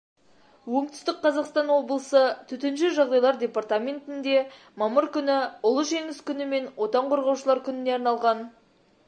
оңтүстік қазақстан облысы төтенше жағдайлар департаментінде мамыр күні улы жеңіс күні мен отан қорғаушылар күніне арналған